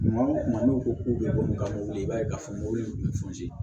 Kuma o kuma n'u ko k'u bɛ ko min kan ka wuli i b'a ye ka fɔ mɔgɔw ye